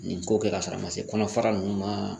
Nin ko kɛ ka sɔrɔ a ma se kɔnɔfara nunnu ma